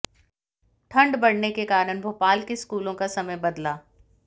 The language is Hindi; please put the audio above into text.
ठंड बढ़ने के कारण भोपाल के स्कूलों का समय बदला